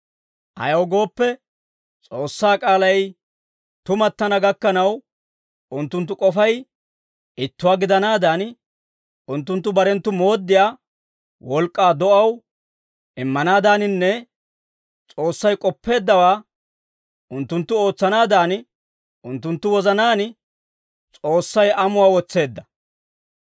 Ayaw gooppe, S'oossaa k'aalay tumattana gakkanaw, unttunttu k'ofay ittuwaa gidanaadan, unttunttu barenttu mooddiyaa wolk'k'aa do'aw immanaadaaninne S'oossay k'oppeeddawaa unttunttu ootsanaadan, unttunttu wozanaan S'oossay amuwaa wotseedda.